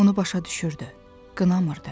Onu başa düşürdü, qınamırdı.